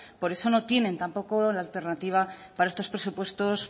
por eso no tienen tampoco la alternativa para estos presupuestos